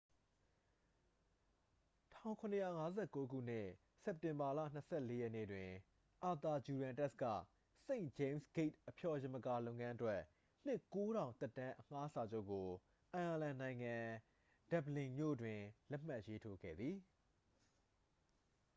1759 ခုနှစ် စက်တင်ဘာလ 24 ရက်နေ့တွင် အာသာဂျူရန်တက်စ် က st james' gate အဖျော်ယမကာလုပ်ငန်းအတွက် နှစ် 9,000 သက်တမ်းအငှားစာချုပ်ကို အိုင်ယာလန်နိုင်ငံ ဒဗ္ဗလင်မြို့တွင် လက်မှတ်ရေးထိုးခဲ့သည်